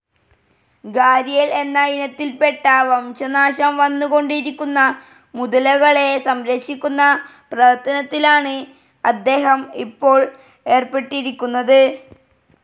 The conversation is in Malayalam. ഗാരിയൽ എന്ന ഇനത്തിൽപ്പെട്ട, വംശനാശം വന്നു കൊണ്ടിരിക്കുന്ന മുതലകളെ സംരക്ഷിക്കുന്ന പ്രവർത്തനത്തിലാണ് അദ്ദേഹം ഇപ്പോൾ ഏർപ്പെട്ടിരിക്കുന്നത്.